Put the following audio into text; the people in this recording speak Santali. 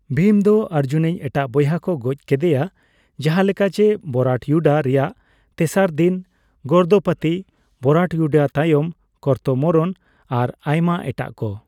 ᱵᱷᱤᱢ ᱫᱚ ᱚᱨᱡᱩᱱᱤᱡ ᱮᱴᱟᱜ ᱵᱚᱭᱦᱟ ᱠᱚ ᱜᱚᱡᱽ ᱠᱮᱫᱮᱭᱟ, ᱡᱟᱦᱟᱸ ᱞᱮᱠᱟ ᱡᱮ ᱵᱚᱨᱟᱴᱭᱩᱰᱟ ᱨᱮᱭᱟᱜ ᱛᱮᱥᱟᱨ ᱫᱤᱱ ᱜᱚᱨᱫᱯᱚᱛᱤ, ᱵᱚᱨᱟᱴᱭᱩᱰᱟ ᱛᱟᱭᱚᱢ ᱠᱚᱨᱛᱢᱚᱨᱱ, ᱟᱨ ᱟᱭᱢᱟ ᱮᱴᱟ ᱠᱚ ᱾